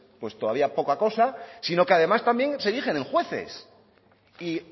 todavía poca cosa sino que además también se erigen en jueces y